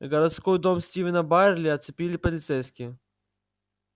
городской дом стивена байерли оцепили полицейские